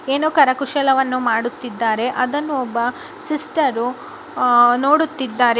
ಏನೋ ಕರಕುಶಲವನ್ನು ಮಾಡುತ್ತಿದ್ದಾರೆ ಅದನ್ನು ಒಬ್ಬ ಸಿಸ್ಟರು ಆಹ್ ನೋಡುತ್ತಿದ್ದಾರೆ.